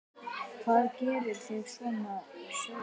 Hvað gerir þig svona seigan?